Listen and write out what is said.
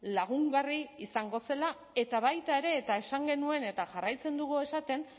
lagungarri izango zela eta baita ere eta esan genuen eta jarraitzen dugu esaten